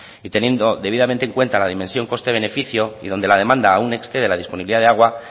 y teniendo debidamente en cuenta la dimensión coste beneficio y donde la demanda aún excede la disponibilidad de agua